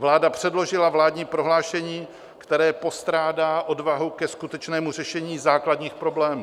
Vláda předložila vládní prohlášení, které postrádá odvahu ke skutečnému řešení základních problémů.